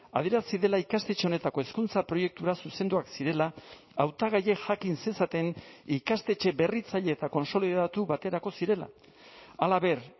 adierazi dela ikastetxe honetako hezkuntza proiektura zuzenduak zirela hautagaiek jakin zezaten ikastetxe berritzaile eta kontsolidatu baterako zirela halaber